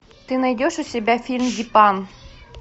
ты найдешь у себя фильм дипан